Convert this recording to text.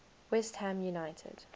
west ham united